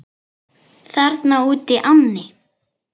Þarna útí ánni?